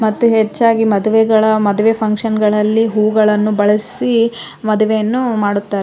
ಮತ್ತೆ ಹೆಚ್ಚಾಗಿ ಮದುವೆಗಳ ಮದುವೆ ಫಂಕ್ಷನಗಳಲ್ಲಿ ಹೂವುಗಳನ್ನು ಬಳಸಿ ಮದುವೆಯನ್ನು ಮಾಡುತ್ತಾರೆ .